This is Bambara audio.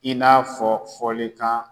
I n'a fɔ fɔlikan.